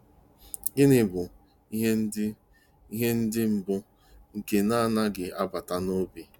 Gịnị bụ "ihe ndi "ihe ndi mbụ" "nke na-agaghị 'abata n'obi''?